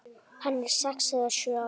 Hann er sex eða sjö ára.